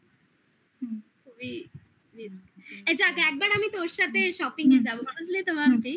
এই যাক একবার আমি তোর সাথে shopping এ যাব. বুঝলি তো?